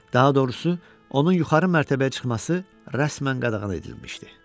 Daha doğrusu, onun yuxarı mərtəbəyə çıxması rəsmən qadağan edilmişdi.